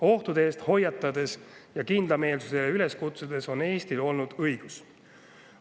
Ohtude eest hoiatades ja kindlameelsusele üles kutsudes on Eestil olnud õigus.